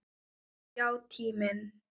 Já, tíminn.